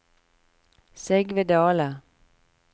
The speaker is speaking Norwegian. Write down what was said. Sigve Dahle